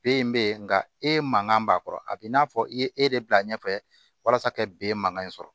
B in bɛ yen nka e man kan b'a kɔrɔ a b'i n'a fɔ i ye e de bila ɲɛfɛ walasa kɛ ben mankan in sɔrɔ